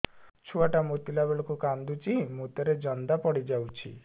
ଛୁଆ ଟା ମୁତିଲା ବେଳକୁ କାନ୍ଦୁଚି ମୁତ ରେ ଜନ୍ଦା ପଡ଼ି ଯାଉଛି